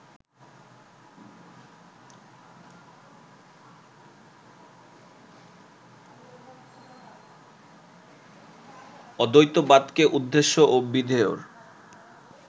অদ্বৈতবাদকে উদ্দেশ্য ও বিধেয়র